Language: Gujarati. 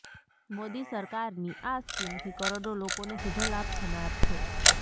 મોદી સરકારની આ સ્કીમથી કરોડો લોકોને સીધો લાભ થનાર છે